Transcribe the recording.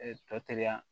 tɔ teri